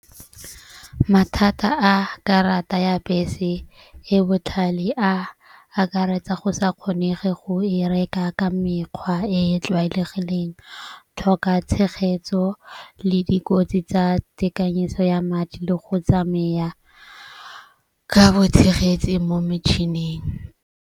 Mathata a karata ya bese e botlhale a akaretsa go sa kgonege go e reka ka mekgwa e e tlwaelegileng. Tlhoka tshegetso le dikotsi tsa tekanyetso ya madi le go tsamaya ka bo tshegetse mo metšhining.